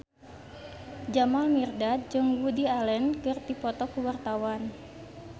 Jamal Mirdad jeung Woody Allen keur dipoto ku wartawan